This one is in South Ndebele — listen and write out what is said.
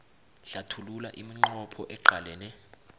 hlathulula iminqopho eqalene